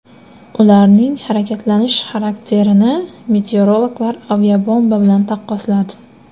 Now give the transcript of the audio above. Ularning harakatlanish xarakterini meteorologlar aviabomba bilan taqqosladi.